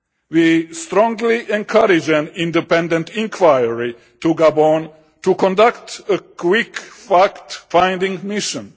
We strongly encourage an independent inquiry in Gabon to conduct a quick fact finding mission.